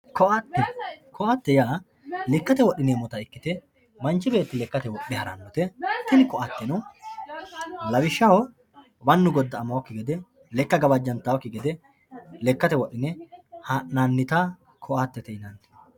koatte koatte yaa lekkate wodhineemmota ikkite manchi beetti lekkate wodhe harannote tini koatteno lawishshaho mannu godda''amannokki gede lekka gawajjantannokki gede lekkate wodhine ha'nannita koatete yinanni.